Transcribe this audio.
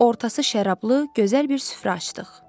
Ortası şərablı, gözəl bir süfrə açdıq.